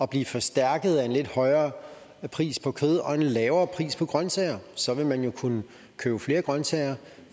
blive forstærket af en lidt højere pris på kød og en lavere pris på grønsager så vil man jo kunne købe flere grønsager